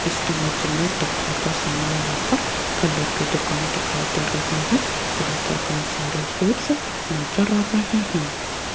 इस ईमेज में तकिया का सामने यहां पर फलों की दुकान दिखाई दे रही हैं जहां पर कई सारे फ्रूट्स नजर आ रहे हैं।